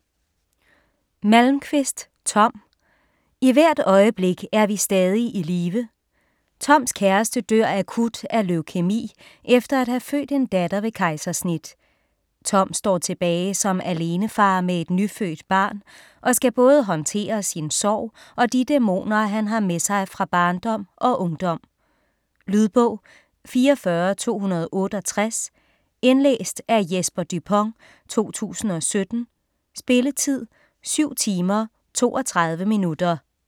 Malmquist, Tom: I hvert øjeblik er vi stadig i live Toms kæreste dør akut af leukæmi efter at have født en datter ved kejsersnit. Tom står tilbage som alenefar med et nyfødt barn og skal både håndtere sin sorg og de dæmoner, han har med sig fra barndom og ungdom. Lydbog 44268 Indlæst af Jesper Dupont, 2017. Spilletid: 7 timer, 32 minutter.